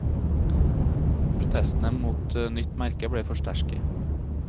Protestene mot nytt merke ble for sterke.